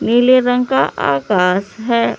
नीले रंग का आकाश है।